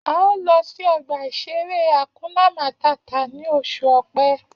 A ó lọ sí ọgbà-ìṣeré Hakuna Màtá ni oṣù Ọ̀pẹ